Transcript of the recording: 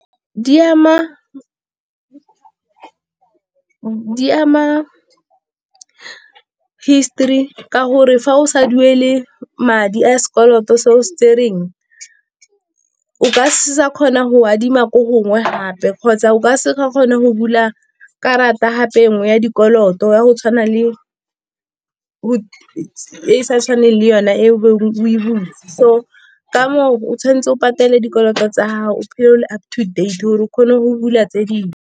Di ama histori ka gore fa o sa duele madi a sekoloto se o se tsereng o ka seke wa kgona go adima ko gongwe gape kgotsa o ka seke wa kgona go bula karata gape e nngwe ya dikoloto, ya go tshwana le e e sa tshwaneng le yona e o e be o e butse. So ka moo o tshwanetse o patele dikoloto tsa gago, o phele o le up to date, o kgone go bula tse dingwe.